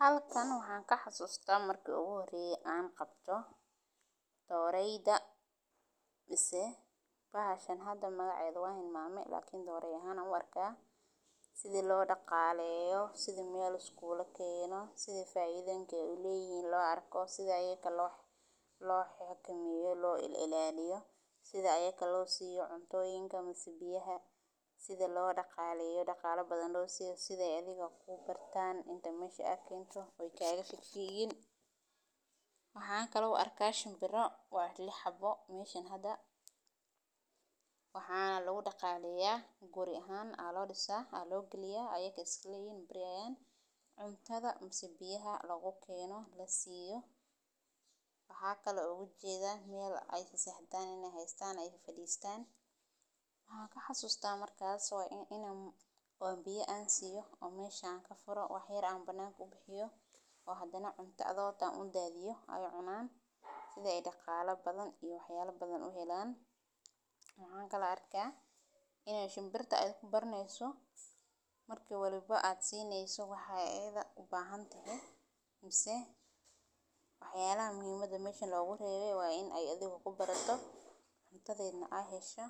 Halkan waxan ka xasusta marki u horeye an qabto doreyda mase bahashan hada magaceda wan hilmame balse dorey ahan ayan u arka, sitha faidhoyinka lo arko sitha lo xananeyno lo axakameyo lo ilaliyo sitha ayaga cuna lo sini laha mase biyaha sitha athiga ee ku bartan mase ee ka fafigin marka aad mesha aad kento, waxan u arka shinbiro meshan hada waa lix xabo, waxana alagu daqaleya guri aya losameya waxan kale oo ujed meel ee waxan xasusata marka in oo biya an siyo wax yar an bananka ubixiyo oo hadana cuntadhoda an udadhiyo oo ee cunan sitha ee daqala badan iyo waxyala badan, waxyalaha muhiimaada oo meshan logu rewe waa in ee adhiga kubarato cuntadheda ee hesho